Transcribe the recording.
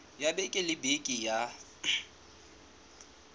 ya beke le beke ya